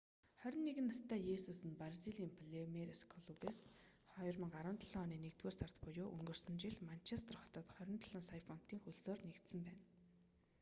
21 настай есүс нь бразилийн палмейрас клубээс 2017 оны нэгдүгээр сард буюу өнгөрсөн жил манчестер хотод 27 сая фунтын хөлсөөр нэгдсэн байна